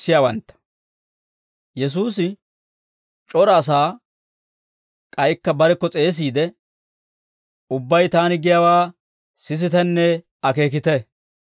Yesuusi c'ora asaa k'aykka barekko s'eesiide, «Ubbay taani giyaawaa sisitenne akeekite.